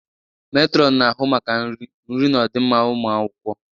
Matron na-ahụ maka nri, nri na ọdịmma ụmụ akwụkwọ